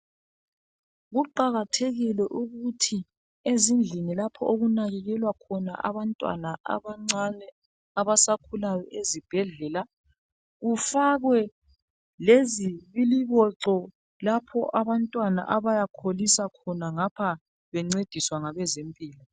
Kuqakathekile ukuthi ezindlini lapho okunakekelwa khona abantwana abancane abasakhulayo ezibhedlela kufakwe lezibiliboco lapho abantwana abayakholisa khona ngapho bencediswa ngabezempilakahle.